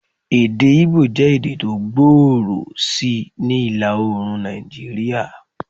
Èdè Igbo jẹ́ èdè tó gbòòrò sí ni ìlà-oorùn Nàìjíríà.